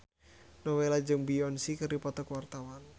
Nowela jeung Beyonce keur dipoto ku wartawan